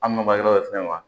An nɔgɔ fɛnɛ wa